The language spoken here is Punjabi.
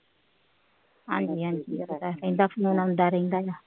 ਹਾਂਜੀ ਹਾਂਜੀ ਦਸਵੇਂ ਦਿਨ ਆਉਂਦਾ ਰਹਿੰਦਾ ਵਾ